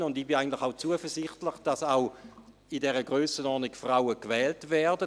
Ich bin eigentlich auch zuversichtlich, dass Frauen auch in dieser Grössenordnung wählt werden.